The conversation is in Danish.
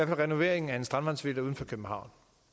med renoveringen af en strandvejsvilla uden for københavn